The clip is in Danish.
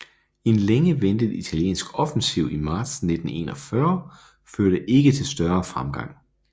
En længe ventet italiensk offensiv i marts 1941 førte ikke til større fremgang